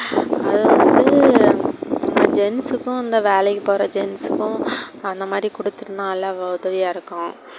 அது வந்து gents க்கும் இந்த வேலைக்கு போற gents க்கும் அந்த மாதிரி குடுத்துறனாள ஆவுதோ இரக்கோ,